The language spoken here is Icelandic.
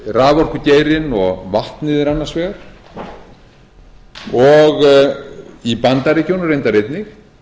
raforkugeirinn g vatnið er annars vegar í bandaríkjunum reyndar einnig